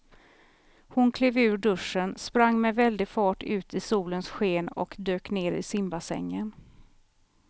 Hon klev ur duschen, sprang med väldig fart ut i solens sken och dök ner i simbassängen.